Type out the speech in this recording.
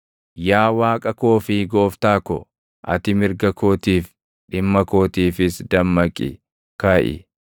Yaa Waaqa koo fi Gooftaa ko, ati mirga kootiif, dhimma kootiifis dammaqi; kaʼi!